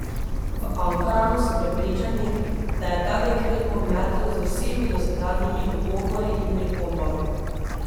V Ankaranu so prepričani, da je ta dekret pometel z vsemi dosedanjimi ugovori in pripombami.